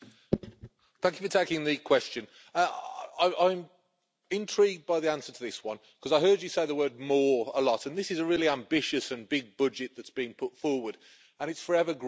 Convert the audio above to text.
Thank you for taking the question. I'm intrigued by the answer to this one, because I heard you say the word more' a lot, and this is a really ambitious and big budget that's being put forward, it's forever growing.